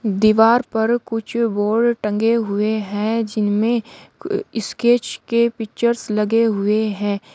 दीवार पर कुछ बोर्ड टंगे हुए हैं जिनमें कु स्केच के पिक्चर्स लगे हुए हैं।